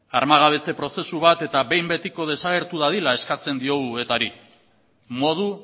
armagabetze prozesu bat eta behin betiko desagertu dadila eskatzen diogu etari modu